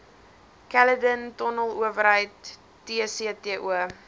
caledon tonnelowerheid tcto